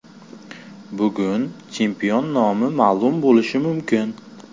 Bugun chempion nomi ma’lum bo‘lishi mumkin.